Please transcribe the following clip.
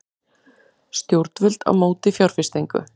Stjórnvöld á móti fjárfestingu